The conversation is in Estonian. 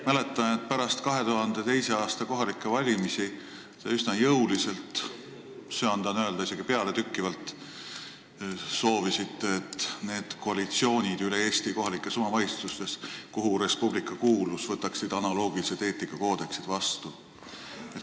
Mäletan, et pärast 2002. aasta kohalikke valimisi te üsna jõuliselt – söandan isegi öelda, et pealetükkivalt – nõudsite, et kogu Eesti kohalikes omavalitsustes kõik koalitsioonid, kuhu Res Publica kuulus, võtaks analoogilise eetikakoodeksi vastu.